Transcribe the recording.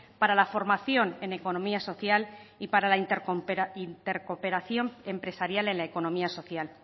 para la formación en economía social y para la intercooperación empresarial en la economía social